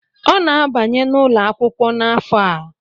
Ọ na-abanye n’ụlọ akwụkwọ n’afọ a